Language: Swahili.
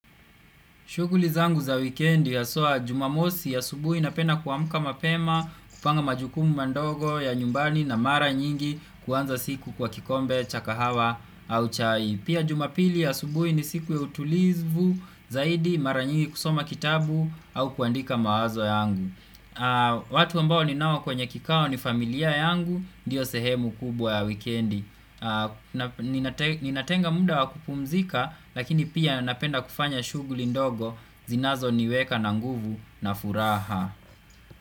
Shuguli zangu za wikendi haswa jumamosi asubuhi napenda kuamuka mapema, kupanga majukumu mandogo ya nyumbani na mara nyingi kuanza siku kwa kikombe, cha kahawa au chai. Pia jumapili asubuhi ni siku ya utulizvu zaidi mara nyingi kusoma kitabu au kuandika mawazo yangu. Watu ambao ninao kwenye kikao ni familia yangu, ndiyo sehemu kubwa ya wikendi. Ninatenga muda wa kupumzika lakini pia napenda kufanya shuguli ndogo zinazo niweka na nguvu na furaha.